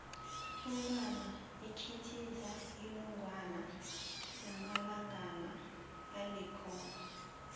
umntwana ikhithiza inongwana nakanamalanga alikhomba